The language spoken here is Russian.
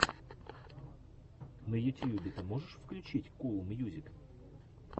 на ютьюбе ты можешь включить кул мьюзик